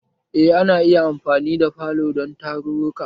Eh ana iya amfani da falo dan tarruruka